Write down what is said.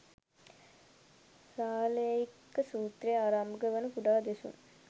සාලෙය්යක සූත්‍රයෙන් ආරම්භ වන කුඩා දෙසුම්